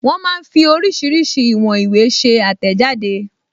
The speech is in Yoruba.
Wọ́n máa ń fí oríṣiríṣi ìwọn ìwé ṣe àtẹ̀jáde